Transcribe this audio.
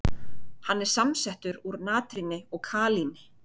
Hann er samsettur úr natríni og kalíni.